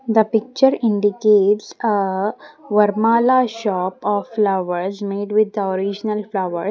The picture indicates a Vermala shop of flowers made with the original flowers.